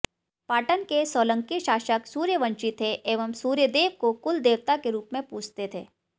पाटन के सोलंकी शासक सूर्यवंशी थे एवं सूर्यदेव को कुलदेवता के रूप में पूजते थे